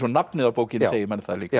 nafnið á bókinni segir manni það líka